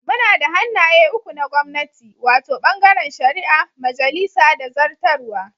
Muna da hannaye uku na gwamnati, wato, bangaren shari'a, majalisa da zartarwa.